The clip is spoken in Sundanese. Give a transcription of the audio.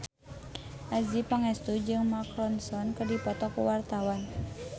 Adjie Pangestu jeung Mark Ronson keur dipoto ku wartawan